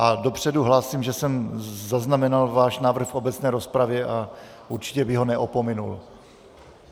A dopředu hlásím, že jsem zaznamenal váš návrh v obecné rozpravě a určitě bych ho neopominul.